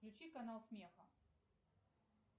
включи канал смеха